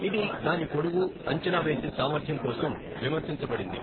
ఇది దాని పొడవు, అంచనా వేసే సామర్థ్యం కోసం విమర్శించబడింది.